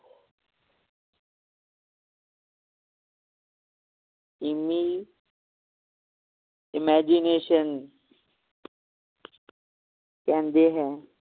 ਇਮੀ~ imagination ਕਹਿੰਦੇ ਹੈ